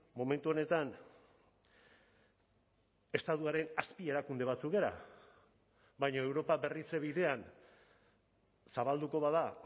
momentu honetan estatuaren azpi erakunde batzuk gara baina europa berritze bidean zabalduko bada